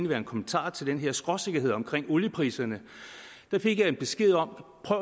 være en kommentar til den her skråsikkerhed omkring oliepriserne fik jeg en besked om at